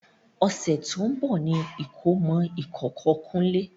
Ọ̀sẹ̀ tó ń bọ̀ ní ìkómọ ìkókó kunle